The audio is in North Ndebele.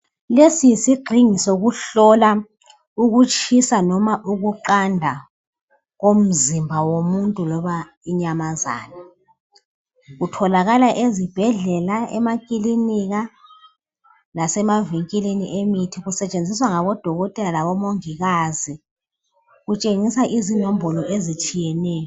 Lesi yisigxingi sokuhlola ukutshisa noma ukuqanda komzimba womuntu loba inyamazana. Kutholakala ezibhedlela emakilinika lasemavinkilini emithi. Kusetshenziswa ngabodokotela labomongikazi. Kutshengisa izinombolo ezitshiyeneyo.